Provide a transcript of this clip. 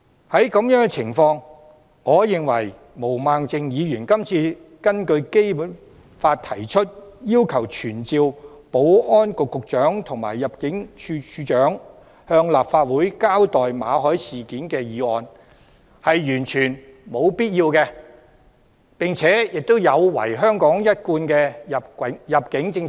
在這種情況下，我認為毛孟靜議員今次根據《基本法》提出議案，要求傳召保安局局長和入境處處長向立法會交代馬凱事件，是完全沒有必要的，而且有違香港一貫的入境政策。